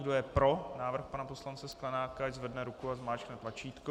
Kdo je pro návrh pana poslance Sklenáka, ať zvedne ruku a zmáčkne tlačítko.